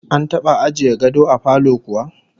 An taba ajiye gado a falo kuwa?